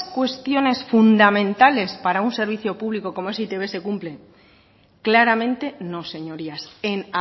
cuestiones fundamentales para un servicio público como es e i te be se cumplen claramente no señorías en